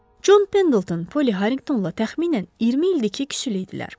Con Pendleton Poly Harringtonla təxminən 20 ildir ki, küsülüydülər.